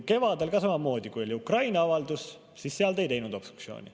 Kevadel samamoodi, kui oli Ukraina avaldus, siis te ei teinud obstruktsiooni.